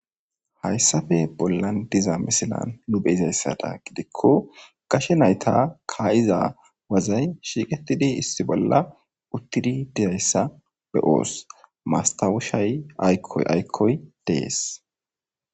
Haysape bolan de'iza misilen nu be'izasato gidiko gashe nayti kaa'iza wazi shiiqetidi issi bolla utidi dizaysa be'os mastaweshay aykoy aykoy de'es.